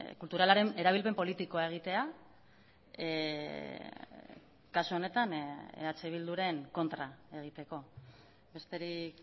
kulturalaren erabilpen politikoa egitea kasu honetan eh bilduren kontra egiteko besterik